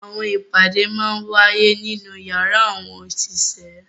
Awọn ipade màa ǹ waye ninu yara awọn oṣiṣẹ